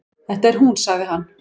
Þetta er hún sagði hann.